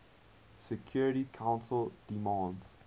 security council demands